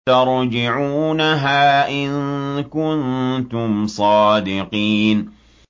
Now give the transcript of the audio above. تَرْجِعُونَهَا إِن كُنتُمْ صَادِقِينَ